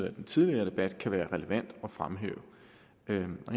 af den tidligere debat kan være relevante at fremhæve